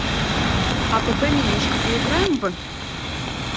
апп менюшка поиграем в